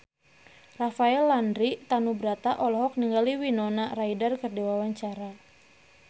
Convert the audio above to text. Rafael Landry Tanubrata olohok ningali Winona Ryder keur diwawancara